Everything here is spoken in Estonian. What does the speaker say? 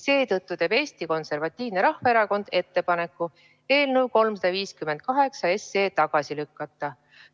Seetõttu teeb Eesti Konservatiivne Rahvaerakond ettepaneku eelnõu 358 tagasi lükata.